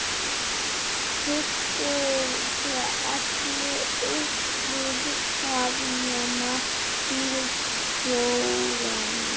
Það kipptu sér allir upp við það nema bílstjórinn.